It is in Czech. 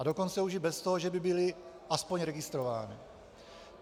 A dokonce už i bez toho, že by byly aspoň registrovány.